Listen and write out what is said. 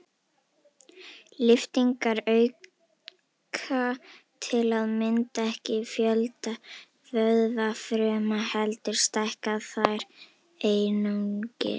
Lyftingar auka til að mynda ekki fjölda vöðvafruma heldur stækka þær einungis.